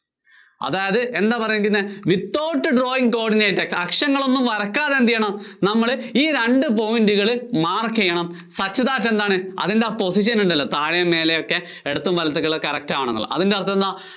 അതായത് എന്താ പറയേണ്ടിയിരുന്നേ? without drawing coordinate, അക്ഷങ്ങള്‍ ഒന്നും വരയ്ക്കാതെ എന്തു ചെയ്യണം നമ്മള് ഈ രണ്ട് point കള് mark ചെയ്യണം. എന്താണ് അതിന്‍റെ position ഉണ്ടല്ലോ താഴെയും, മേലെയുമൊക്കെ, ഇടത്തും വലത്തുമൊക്കെയുള്ളത് correct ആവേണമെന്നുള്ളത്. അതിന്‍റെ അര്‍ത്ഥം എന്താ?